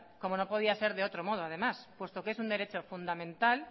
como no podía ser de otro modo además puesto que es un derecho fundamental